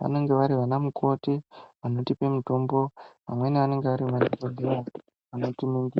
vanonga vari vana mukoti vanotipa mutombo. Vamweni anonga ari madhokodheya anotiningira.